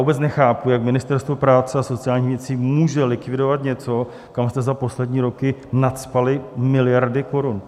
Vůbec nechápu, jak Ministerstvo práce a sociálních věcí může likvidovat něco, kam jste za poslední roky nacpali miliardy korun!